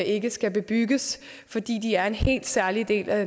ikke skal bebygges fordi de er en helt særlig del af